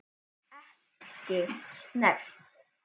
Ekki snert.